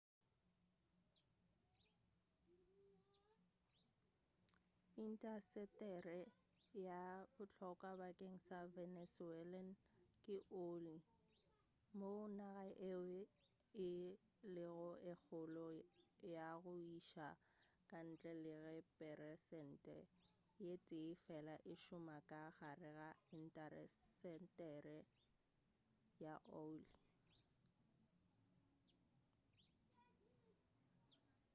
intasetere ye bohlokwa bakeng sa venezuelan ke oile moo naga yeo e lego ye kgolo ya go iša ka ntle le ge peresente ye tee fela e šoma ka gare ga intasetere ya oile